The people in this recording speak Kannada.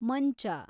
ಮಂಚ